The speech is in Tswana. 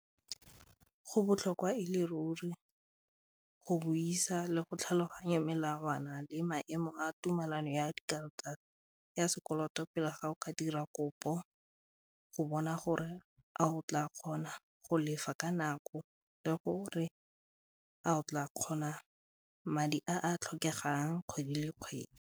Go botlhokwa e le ruri go buisa le go tlhaloganya melawana le maemo a tumelano ya karata ya sekoloto pele ga o ka dira kopo go bona gore a o tla kgona go lefa ka nako le gore a o tla kgona madi a a tlhokegang kgwedi le kgwedi.